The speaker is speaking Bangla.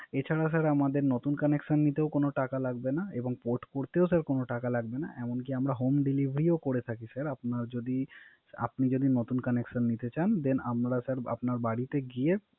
এছাড়া Sir আমাদের নতুন Connection নিতেও কোন টাকা লাগবে না। এমনকি আমরা Home delivery ও করে থাকি Sir আপনি যদি নতুন Connection নিতে চান Then আমরা Sir আপন বাড়িতে গিয়ে